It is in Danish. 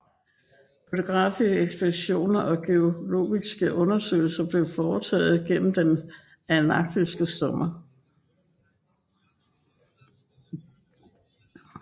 Fotografiske ekspeditioner og geologiske undersøgelser blev foretaget gennem den antarktiske sommer